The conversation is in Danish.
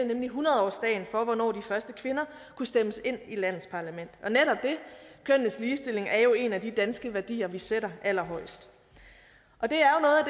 nemlig hundrede årsdagen for hvornår de første kvinder kunne stemmes ind i landets parlament og netop det kønnenes ligestilling er jo en af de danske værdier vi sætter allerhøjest og det